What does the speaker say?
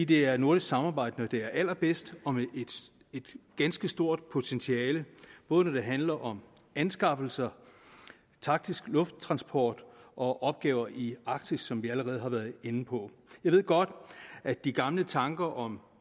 det er nordisk samarbejde når det er allerbedst og med et ganske stort potentiale både når det handler om anskaffelser taktisk lufttransport og opgaver i arktis som vi allerede har været inde på jeg ved godt at de gamle tanker om